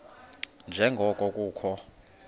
nje ngoko kukho